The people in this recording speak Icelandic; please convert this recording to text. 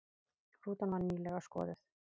Rútan var nýlega skoðuð